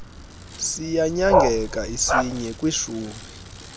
siyanyangeka isinye kwishumi